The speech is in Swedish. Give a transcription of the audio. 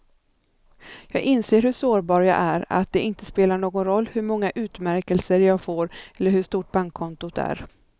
Jag inser hur sårbar jag är, att det inte spelar någon roll hur många utmärkelser jag får eller hur stort bankkontot är.